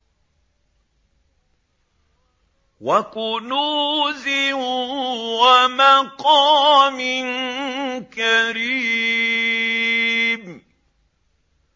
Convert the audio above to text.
وَكُنُوزٍ وَمَقَامٍ كَرِيمٍ